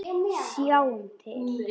Sjáum til!